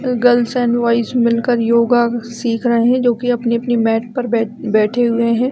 ऊ गर्ल और बॉयस मिलकर योगा सिख रहे है जो की अपने अपने मेट पर बै बैठे हुए हैं।